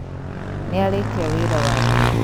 Nĩarĩkia wĩra wake